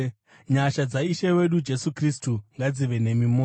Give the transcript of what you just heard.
Nyasha dzaIshe wedu Jesu Kristu ngadzive nemi mose.